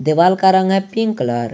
देवाल का रंग है पिंक कलर ।